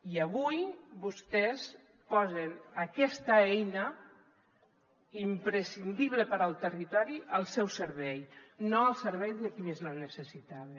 i avui vostès posen aquesta eina imprescindible per al territori al seu servei no al servei de qui més la necessitava